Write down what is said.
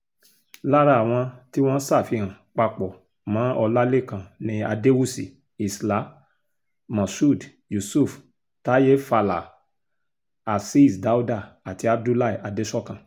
lára àwọn tí wọ́n ṣàfihàn papọ̀ mọ́ ọlálẹ́kan ni adéwúsì isla moshood yusuf táyé fàlà azeez dáúdá àti abdullahi adẹ́sọkàn